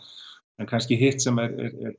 en kannski hitt sem er